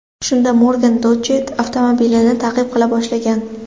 Shunda Morgan Dodge avtomobilini ta’qib qila boshlagan.